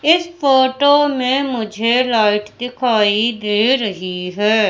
इस फोटो मे मुझे लाइट दिखाई दे रही है।